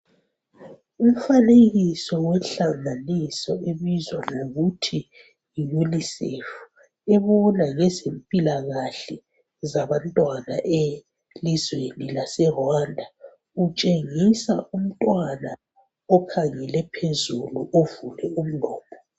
Umfanekiso wohlanganiso ebizwa ngokuthi yi Unicef ebona ngezempilakahle zabantwana elizweni lase Rwanda, utshengisa umntwana okhangele phezulu ovule umlomo.